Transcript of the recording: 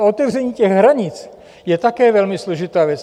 A otevření těch hranic je také velmi složitá věc.